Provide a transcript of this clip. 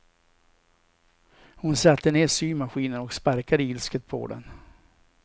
Hon satte ner symaskinen och sparkade ilsket på den.